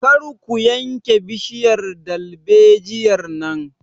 Kar ku yanke bishiyar dalbejiyar nan!